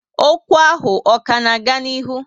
Ókwú ahụ ọ ka n'aga n'ihu?